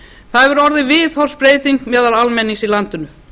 það hefur orðið viðhorfsbreyting meðal almennings í landinu